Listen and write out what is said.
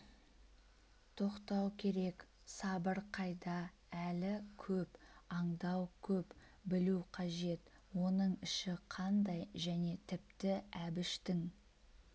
тоқтау керек сабыр қайда әлі көп андау көп білу қажет оның іші қандай және тіпті әбіштің